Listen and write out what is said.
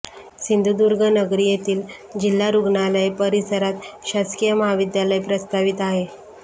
सिंधुदुर्गनगरी येथील जिल्हा रुग्णालय परिसरात शासकीय महाविद्यालय प्रस्तावित आहे